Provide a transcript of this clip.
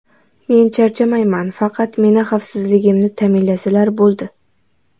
Men charchamayman, faqat meni xavfsizligimni ta’minlasalar bo‘ldi.